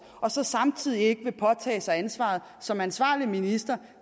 og så samtidig ikke vil påtage sig ansvaret som ansvarlig minister